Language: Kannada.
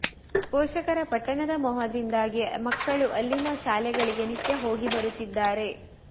ಪೋಷಕರ ಪಟ್ಟಣದ ಮೋಹದಿಂದಾಗಿ ಮಕ್ಕಳು ಅಲ್ಲಿನ ಶಾಲೆಗಳಿಗೆ ನಿತ್ಯ ಹೋಗಿ ಬರುತ್ತಿದ್ದಾರೆ